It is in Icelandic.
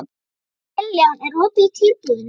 Kiljan, er opið í Kjörbúðinni?